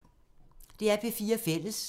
DR P4 Fælles